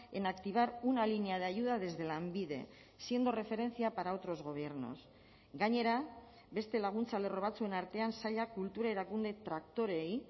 en activar una línea de ayuda desde lanbide siendo referencia para otros gobiernos gainera beste laguntza lerro batzuen artean sailak kultura erakunde traktoreei